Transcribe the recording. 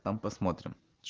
там посмотрим